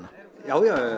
já já